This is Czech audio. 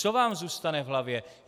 Co vám zůstane v hlavě?